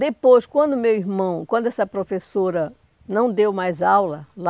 Depois, quando o meu irmão, quando essa professora não deu mais aula lá,